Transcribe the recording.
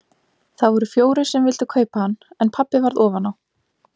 Það voru fjórir sem vildu kaupa hann en pabbi varð ofan á.